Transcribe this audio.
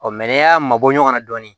Ɔ n'i y'a mabɔ ɲɔgɔn na dɔɔni